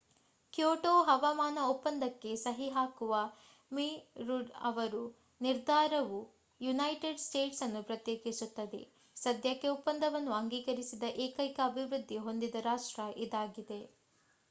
Kyoto ಹವಾಮಾನ ಒಪ್ಪಂದಕ್ಕೆ ಸಹಿ ಹಾಕುವ ಮಿ ರುಡ್ ಅವರ ನಿರ್ಧಾರವು ಯುನೈಟೆಡ್ ಸ್ಟೇಟ್ಸ್ ಅನ್ನು ಪ್ರತ್ಯೇಕಿಸುತ್ತದೆ ಸದ್ಯಕ್ಕೆ ಒಪ್ಪಂದವನ್ನು ಅಂಗೀಕರಿಸದ ಏಕೈಕ ಅಭಿವೃದ್ಧಿ ಹೊಂದಿದ ರಾಷ್ಟ್ರ ಇದಾಗಿದೆ